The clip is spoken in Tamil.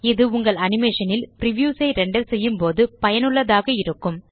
இது உங்கள் அனிமேஷன் ல் பிரிவியூஸ் ஐ ரெண்டர் செய்யும்போது பயனுள்ளதாக இருக்கும்